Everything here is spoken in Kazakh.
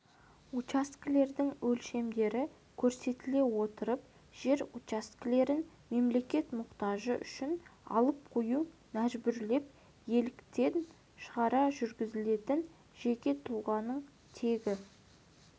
учаскелердің өлшемдері көрсетіле отырып жер учаскелерін мемлекет мұқтажы үшін алып қою мәжбүрлеп иеліктен шығару жүргізілетін жеке тұлғаның тегі